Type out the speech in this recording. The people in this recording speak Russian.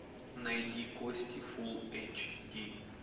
найди кости фул эйч ди